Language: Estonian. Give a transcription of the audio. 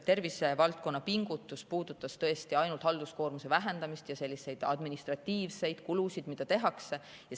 Tervisevaldkonna pingutus puudutas tõesti ainult halduskoormuse vähendamist, administratiivseid kulusid, mida tehakse.